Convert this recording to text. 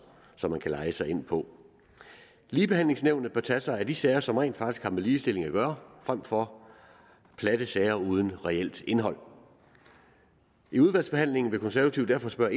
som man kan leje sig ind på ligebehandlingsnævnet bør tage sig af de sager som rent faktisk har med ligestilling at gøre frem for af platte sager uden reelt indhold i udvalgsbehandlingen vil konservative derfor spørge